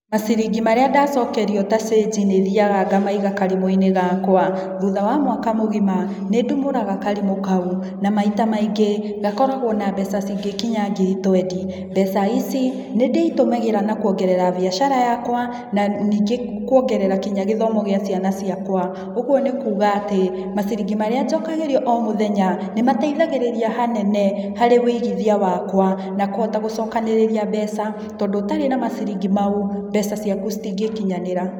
Maciringi marĩa ndacokerio ta cĩnjĩ ni thiaga ngamaiga karimũ-inĩ gakwa. Thutha wa mwaka mũgima, nĩ ndumũraga karimu kau, na maita maingĩ, gakoragwo na mbeca cingĩkinya ngiri twendi. Mbeca ici nĩ ndĩitũmagĩra na kũongerera mbiacara yakwa na ningĩ kũongerera kinya gĩthomo gĩa ciana ciakwa. Ũguo ni kuuga atĩ, maciringi marĩa njokagĩrio o mũthenya, nĩmateithagĩrĩria hanene, harĩ wĩigithia wakwa, na kũhota gũcokanĩrĩria mbeca, tondũ ũtarĩ na maciringi mau, mbeca ciaku citingĩkinyanĩra.